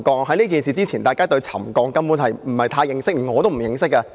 在這事件發生前，大家對沉降根本不太認識，我也不太認識。